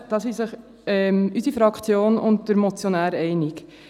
Darin sind sich unsere Fraktion und der Motionär einig.